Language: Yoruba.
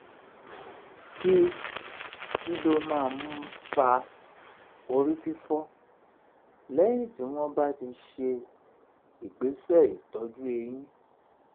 kí ló um máa ń fa orí fifo lẹ́yìn tí wọ́n bá ti ṣe um ìgbésẹ̀ ìtọ́jú eyín?